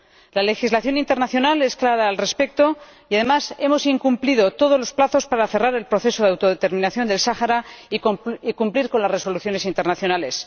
La legislación internacional es clara al respecto y, además, hemos incumplido todos los plazos para cerrar el proceso de autodeterminación del Sáhara y cumplir con las resoluciones internacionales.